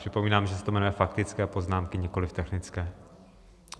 Připomínám, že se to jmenuje faktické poznámky, nikoliv technické.